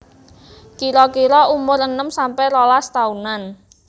Kira kira umur enem sampe rolas taunan